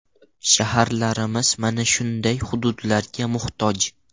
Shaharlarimiz mana shunday hududlarga muhtoj.